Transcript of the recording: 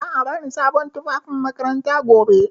Za a bani sabon tufafin makaranta gobe.